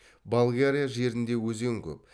болгарияжерінде өзен көп